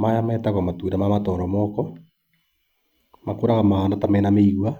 Maya metagwo matunda ma matoromoko, makũraga mahana mĩigua.